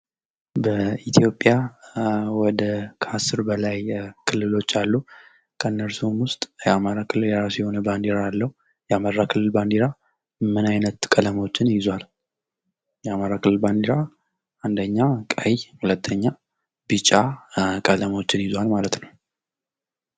በኢትዮጵያ ወደ ከአስር በላይ ክልሎች አሉ። ከእነሱም ውስጥ የአማራ ክልል የእራሱ የሆነ ባንዲራ አለው። የአማራ ክልል ባንዲራ ምን አይነት ቀለሞችን ይዟል? የአማራ ክልል ባንዲራ አንደኛ ቀይ ሁለተኛ ቢጫ ቀለሞችን ይዟል ማለት ነው